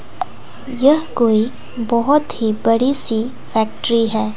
यह कोई बहुत ही बड़ी सी फैक्ट्री है।